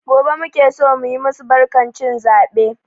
Gobe muke so mu yi masu barkan cin zabe.